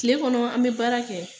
Tile kɔnɔ an be baara kɛ